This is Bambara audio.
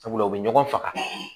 Sabula u bɛ ɲɔgɔn faga